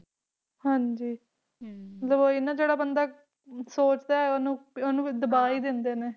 ਹਾਂ ਜੀ ਹਮ ਫੇਰ ਓਹੀ ਹੈ ਨਾ ਜਿਹੜਾ ਬੰਦਾ ਛੋਟਾ ਹੈ ਓਹਨੂੰ ਦਬਾ ਹੀ ਦਿੰਦੇ ਨੇ